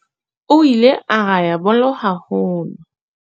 O ile a raha bolo haholo.